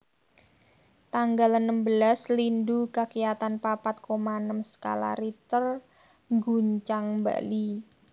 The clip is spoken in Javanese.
Tanggal enem belas Lindhu kakiyatan papat koma enem skala Richter ngguncang Bali